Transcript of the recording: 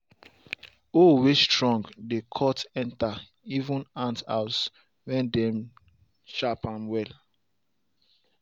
hoe way strong dey cut enter even ant house when dem sharp am well.